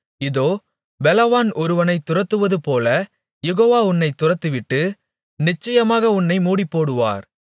இதோ பெலவான் ஒருவனைத் துரத்துவதுபோலக் யெகோவா உன்னைத் துரத்திவிட்டு நிச்சயமாக உன்னை மூடிப்போடுவார்